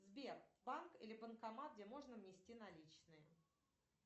сбер банк или банкомат где можно внести наличные